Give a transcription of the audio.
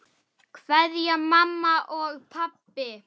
Kveðja mamma og pabbi.